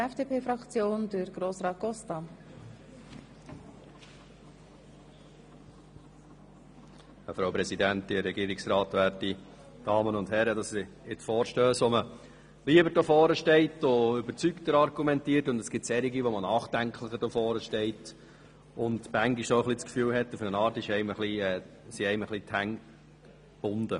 Es gibt Vorstösse, zu welchen man lieber hier vorn steht und überzeugter argumentiert, und es gibt solche, zu welchen man nachdenklicher hier steht und manchmal das Gefühl hat, es seien einem die Hände gebunden.